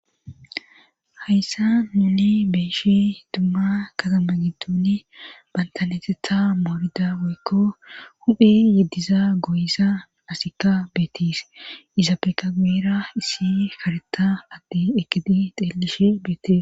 hayssa nuni beeshi dumma katama gidduni bantaneetetha moorida woykko huphi yeddiza goyisa asikka beetis iza peeka guuera issi karetta addi ekidi xeelishe beetis